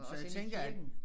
Så jeg tænker at